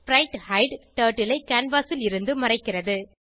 ஸ்பிரைட்ஹைடு turtle ஐ canvas ல் இருந்து மறைக்கிறது